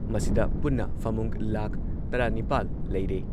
ꯃꯁꯤꯗ ꯄꯨꯟꯅ ꯐꯃꯨꯡ ꯂꯥꯈ ꯇꯔꯥꯅꯤꯄꯥꯟ ꯂꯩꯔꯦ